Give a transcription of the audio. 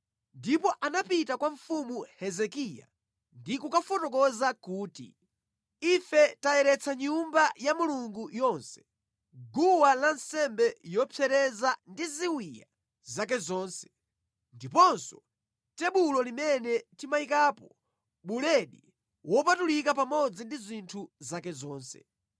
Ndipo anapita kwa mfumu Hezekiya ndi kukafotokoza kuti, “Ife tayeretsa Nyumba ya Mulungu yonse, guwa lansembe zopsereza ndi ziwiya zake zonse, ndiponso tebulo limene timayikapo buledi wopatulika pamodzi ndi zinthu zake zonse.